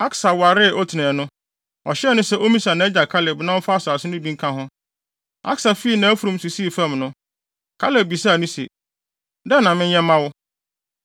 Aksa waree Otniel no, ɔhyɛɛ no sɛ ommisa nʼagya Kaleb na ɔmfa asase no bi nka ho. Aksa fii nʼafurum so sii fam no, Kaleb bisaa no se, “Dɛn na menyɛ mma wo?”